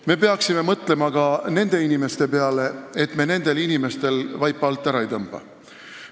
Me peaksime mõtlema ka nende inimeste peale, et me nendel vaipa alt ära ei tõmbaks.